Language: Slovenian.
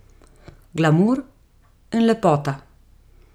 Glamur in lepota.